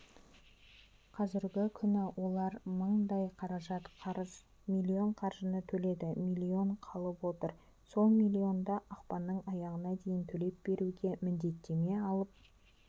қазіргі күні олар мыңдай қаражат қарыз млн қаржыны төледі млн қалып отыр сол миллионды ақпанның аяғына дейін төлеп беруге міндеттеме алып